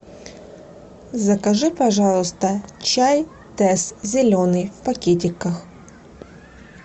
закажи пожалуйста чай тесс зеленый в пакетиках